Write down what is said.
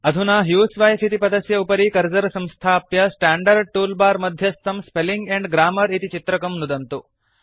अधुना ह्यूसवाइफ इति पदस्य उपरि कर्सर् संस्थाप्य स्टांडर्ड टूलबार मध्यस्थं स्पेलिंग एण्ड ग्राम्मर इति चित्रकं नुदन्तु